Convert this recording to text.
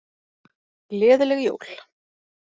Gleðileg jól!